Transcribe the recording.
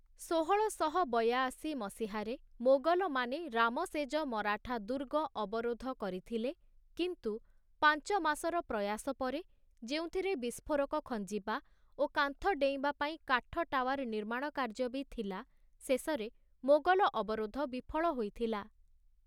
ଷୋହଳଶହ ବୟାଅଶୀ ମସିହାରେ, ମୋଗଲମାନେ ରାମସେଜ ମରାଠା ଦୁର୍ଗ ଅବରୋଧ କରିଥିଲେ, କିନ୍ତୁ ପାଞ୍ଚ ମାସର ପ୍ରୟାସ ପରେ, ଯେଉଁଥିରେ ବିସ୍ଫୋରକ ଖଞ୍ଜିବା ଓ କାନ୍ଥ ଡେଇଁବା ପାଇଁ କାଠ ଟାୱାର ନିର୍ମାଣ କାର୍ଯ୍ୟ ବି ଥିଲା, ଶେଷରେ ମୋଗଲ ଅବରୋଧ ବିଫଳ ହୋଇଥିଲା ।